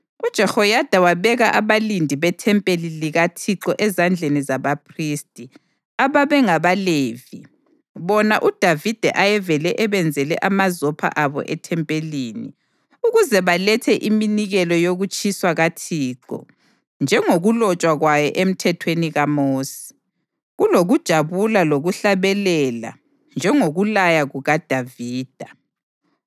UJehoyada wabeka abalindi bethempeli likaThixo ezandleni zabaphristi, ababengabaLevi, bona uDavida ayevele ebenzele amazopho abo ethempelini, ukuze balethe iminikelo yokutshiswa kaThixo njengokulotshwa kwayo eMthethweni kaMosi, kulokujabula lokuhlabelela njengokulaya kukaDavida.